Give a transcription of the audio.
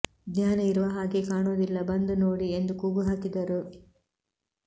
ಜ್ಞಾನ ಇರುವ ಹಾಗೇ ಕಾಣೋದಿಲ್ಲ ಬಂದ್ ನೋಡಿ ಎಂದು ಕೂಗು ಹಾಕಿದರು